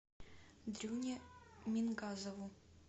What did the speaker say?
дрюне мингазову